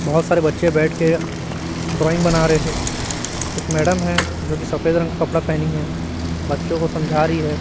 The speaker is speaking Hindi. बहुत सारे बच्चे बैठ के ड्राइंग बना रहे है एक मैडम है जो कि सफेद रंग का कपड़ा पहनी हुई हैं बच्चों को समझा रही है।